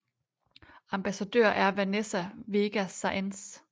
Ambassadør er vanessa vega saenz